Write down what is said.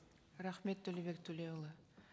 рахмет төлеубек төлеуұлы